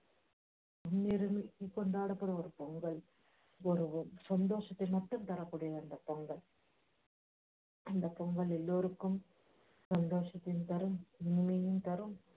கொண்டாடப்படும் ஒரு பொங்கல் சந்தோஷத்த மட்டும் தரக்கூடியது அந்தப் பொங்கல் அந்தப் பொங்கல் எல்லோருக்கும் சந்தோஷத்தையும் தரும் நிம்மதியையும் தரும்